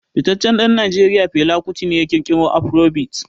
Fitaccen dan Najeriya Fela Kuti ne ya kirkiro Afrobeat.